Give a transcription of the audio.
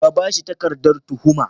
Ka ba su takardar tuhuma.